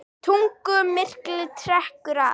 Tunglmyrkvinn trekkir að